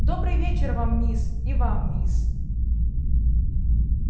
добрый вечер вам мисс и вам мисс